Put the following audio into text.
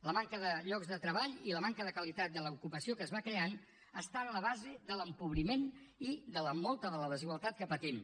la manca de llocs de treball i la manca de qualitat de l’ocupació que es va creant està en la base de l’empobriment i de molta de la desigualtat que patim